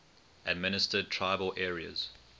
administered tribal areas